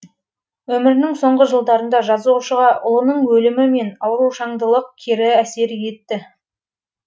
өмірінің соңғы жылдарында жазушыға ұлының өлімі мен аурушаңдылылық кері әсер етті